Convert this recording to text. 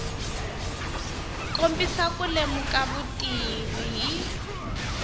kombisa ku lemuka vutivi hi